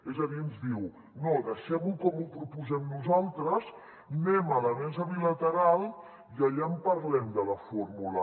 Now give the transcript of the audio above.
és a dir ens diu no deixem ho com ho proposem nosaltres anem a la mesa bilateral i allà en parlem de la fórmula